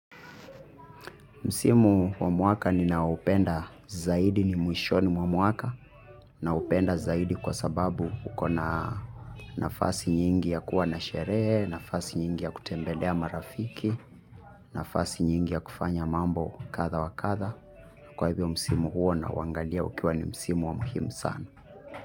Msimu wa mwaka ninaoupenda zaidi ni mwishoni wa mwaka naupenda zaidi kwa sababu uko na nafasi nyingi ya kuwa na sherehe, nafasi nyingi ya kutembelea marafiki, nafasi nyingi ya kufanya mambo kadha wa kadha. Kwa hivyo msimu huo nauangalia ukiwa ni msimu wa muhimu sana.